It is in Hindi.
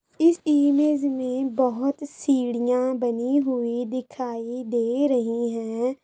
इस इमेज में बहोत सीढ़ियां बनी हुई दिखाई दे रही है।